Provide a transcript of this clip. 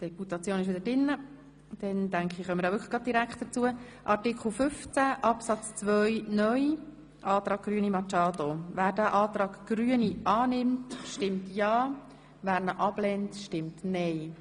Wer den Antrag Grüne Machado zu Artikel 15 Absatz 2 (neu) annimmt, stimmt ja, wer dies ablehnt, stimmt nein.